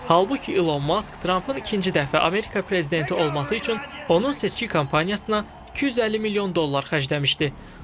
Halbuki İlon Mask Trampın ikinci dəfə Amerika prezidenti olması üçün onun seçki kampaniyasına 250 milyon dollar xərcləmişdi.